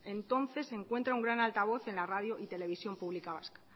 encuentra un gran altavoz en la radio y televisión pública vasca